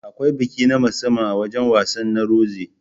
Akwai biki na musamman a wajan wasan na Rozi